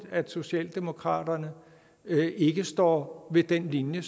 at socialdemokraterne ikke står ved den linje